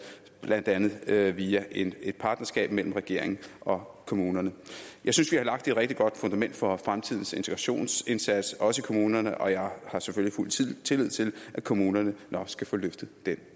blandt andet via via et partnerskab mellem regeringen og kommunerne jeg synes vi har lagt et rigtig godt fundament for fremtidens integrationsindsats også i kommunerne og jeg har selvfølgelig fuld tillid til at kommunerne nok skal få løftet den